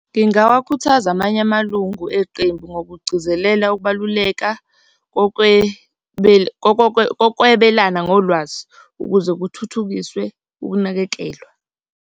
Ngingawakhuthaza amanye amalungu eqembu ngokugcizelela ukubaluleka kokwebelana ngolwazi ukuze kuthuthukiswe ukunakekelwa.